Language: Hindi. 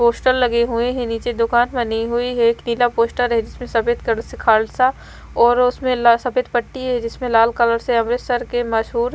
पोस्टर लगे हुए हैं नीचे दुकान बनी हुई है एक नीला पोस्टर है जिसमें सफेद कलर से खालसा और उसमें सफेद पट्टी है जिसमें लाल कलर से अमृतसर के मशहूर--